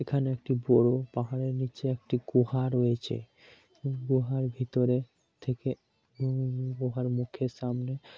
এখানে একটি বড় পাহাড়ের নীচে একটি গুহা রয়েছে গুহার ভেতরে হুম গুহার মুখের সামনে--